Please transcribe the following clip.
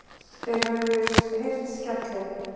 Þeir höfðu heyrt skellinn.